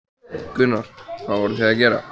Gunnar: Hvað voruð þið að gera?